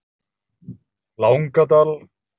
Langadal